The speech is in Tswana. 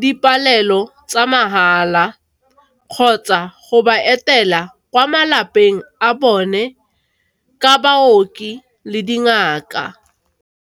di palelo tsa mahala kgotsa go ba etela kwa malapeng a bone ka baoki le dingaka.